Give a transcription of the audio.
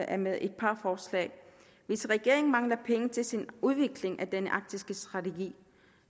af med et par forslag hvis regeringen mangler penge til sin udvikling af den arktiske strategi